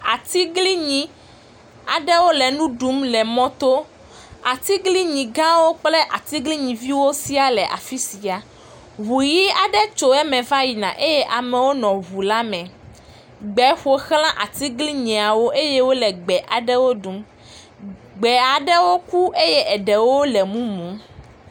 atiglinyi gã ɖe wóle nu ɖum le mɔtó atiglinyi gãwo kple atiglinyi viwo siã ʋu yi aɖe tso eme va yina eye amewo le ʋula me, gbewo ƒoxlã atiglinyia eye wóle gbe aɖewo ɖum gbe aɖewo ku eye ɖewo le múmu